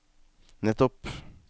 nettopp